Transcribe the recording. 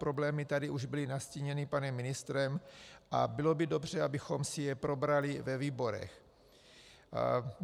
Problémy tady už byly nastíněny panem ministrem a bylo by dobře, abychom si je probrali ve výborech.